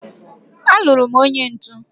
aluru m onye ntu